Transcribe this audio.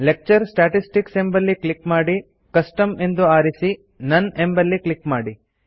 lecture statistics ಎಂಬಲ್ಲಿ click ಮಾಡಿ custom ಎಂದು ಆರಿಸಿ ನೋನ್ ಎಂಬಲ್ಲಿ ಕ್ಲಿಕ್ ಮಾಡಿ